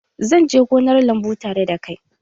Zan je gonar lambu tare da kai